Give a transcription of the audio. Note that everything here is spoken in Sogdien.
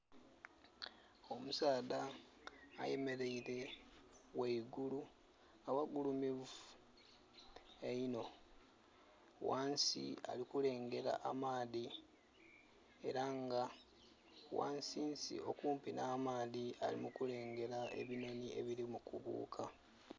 Omusaadha ayemeleire gheigulu aghagulumivu einho, ghansi ali kulengera amaadhi era nga ghasinsi okumpi nha maadhi ali mu kulengera ebinhonhi ebiri mu kubuuka